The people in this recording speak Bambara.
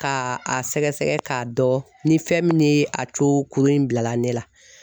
Ka a sɛgɛsɛgɛ k'a dɔn ni fɛn min ye a co kuru in bilala ne la.